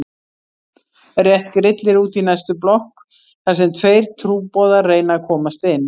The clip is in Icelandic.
Rétt grillir út í næstu blokk þar sem tveir trúboðar reyna að komast inn.